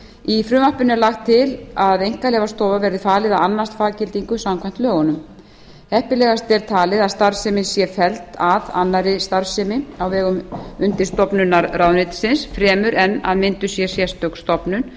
í frumvarpinu er lagt til að einkaleyfastofu verði falið að annast faggildingu samkvæmt lögunum heppilegast er talið að starfsemin sé felld að annarri starfsemi á vegum undirstofnunar ráðuneytisins fremur en að mynduð sé sérstök stofnun